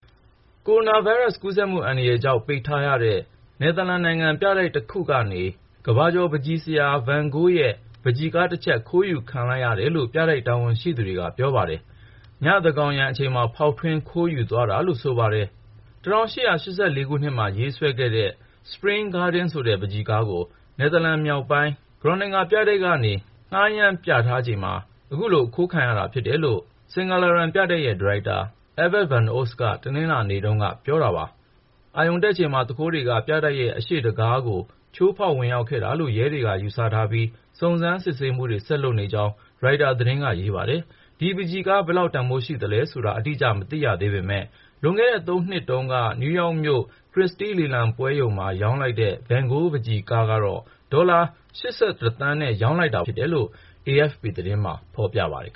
ကိုရိုနာဗိုင်းရပ်စ် ကူးစက်မှုအန္တရာယ်ကြောင့် ပိတ်ထားရတဲ့ နယ်သာလန်နိုင်ငံ ပြတိုက်တခုကနေ ကမ္ဘာကျော် ပန်းချီဆရာ ဗန်ဂိုးရဲ့ ပန်းချီကားတချပ် ခိုးယူခံလိုက်ရတယ်လို့ ပြတိုက် တာဝန်ရှိသူတွေက ပြောပါတယ်။ သန်းခေါင်းယံ အချိန်မှာ ဖောက်ထွင်း ခိုးယူသွားတာလို့ ဆိုပါတယ်။ ၁၈၈၄ ခုနှစ်မှာ ရေးဆွဲခဲ့တဲ့ နွေဦးပန်းခြံ "Spring Garden" ဆိုတဲ့ပန်းချီကားကို နယ်သာလန် မြောက်ပိုင်း Groninger Museum ပြတိုက်က နေ ငှားရမ်းပြသထားချိန်မှာ အခုလို အခိုးခံရတာ ဖြစ်တယ်လို့ Singer Laren ပြတိုက် ဒါရိုက်တာ Evert van Os က တနင်္လာနေ့တုန်းက ပြောတာပါ။ အာရုံတက်အချိန်မှာ သူခိုးတွေက ပြတိုက်ရဲ့ အရှေ့တံခါးကို ချိုးဖေါက် ဝင်ရောက်ခဲ့တာလို့ ရဲတွေက ယူဆထားပြီး စုံစမ်းမှုတွေ ဆက်လုပ်နေ ကြောင်း ရိုက်တာ သတင်းက ရေးပါတယ်။ ဒီပန်းချီကား ဘယ်လောက် တန်ဖိုးရှိတယ်ဆိုတာ အတိအကျ မသိရ သေးပေမယ့်လွန်ခဲ့တဲ့ ၃ နှစ်တုန်းက နယူးယောက်မြို့ Christie လေလံပွဲရုံမှာ ဗန်ဂိုးပန်းချီကားကို ဒေါ်လာ(၈၁)သန်းနဲ့ ရောင်းလိုက်ရတာပါ။ အဲဒီပန်းချီ ကားဟာ ၁၈၈၉ ခုနှစ်တုန်းက ဆွဲထားတာဖြစ်တယ်လို့ AFP သတင်းမှာ ဖေါ်ပြပါတယ်